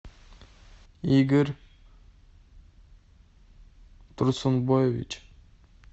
игорь турсунбаевич